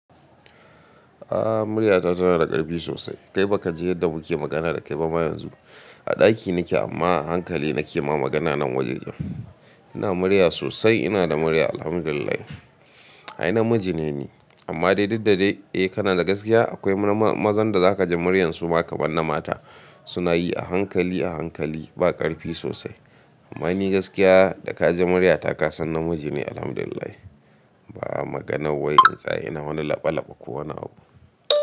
A'a murya ta tana da ƙarfi sosai. Kai baka ji yadda muke magana da kai ba ma yanzu. A ɗaki nike amma a hankali nike ma magana nan wajen. Ina murya sosai, ina da murya Alhamdulillah. Ai namiji ne ni amma duk da dai, eh kana da gaskiya akwai mazan da zaka ji muryar su ma kaban na mata. Suna yi a hankali a hankali ba ƙarfi sosai. Amma ni gaskiya da ka ji murya ta ka san namiji ne Alhamdulillah. Ba a maganar wai in tsaya, ina wani laɓa laɓa ko wani abu.